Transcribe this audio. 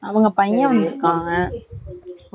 அவங்க பையன் வந்து இருக்காங்க வக்கில்